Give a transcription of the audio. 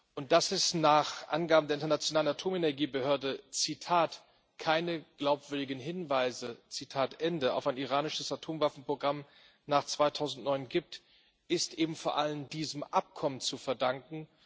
Und dass es nach Angaben der Internationalen Atomenergiebehörde keine glaubwürdigen Hinweise auf ein iranisches Atomwaffenprogramm nach 2009 gibt, ist eben vor allen diesem Abkommen zu verdanken.